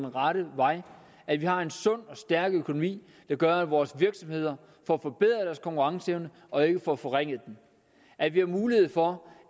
rette vej at vi har en sund stærk økonomi der gør at vores virksomheder får forbedret deres konkurrenceevne og ikke får forringet den at vi har mulighed for